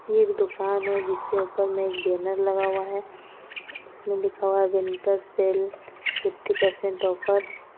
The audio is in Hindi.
एक दुकान है जिसके ऊपर में एक बैनर लगा हुआ है इसमें लिखा हुआ है winter sale fifty percent offer.